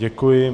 Děkuji.